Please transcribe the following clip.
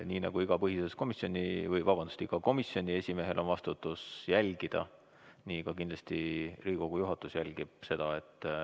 Nii nagu igal komisjoni esimehel on kohustus jälgida, et tähtaegadest kinni peetaks, nii ka kindlasti Riigikogu juhatus jälgib seda.